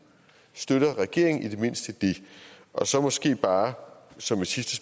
støtter regeringen i det mindste det og så måske bare som en sidste